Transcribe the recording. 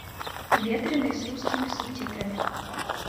ветреный с русскими субтитрами